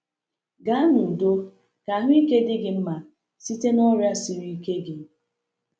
Gaa n’udo, ka ahụike dị gị mma site n’ọrịa siri ike gị.